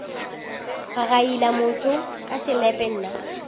gagaila motho ka selepe nna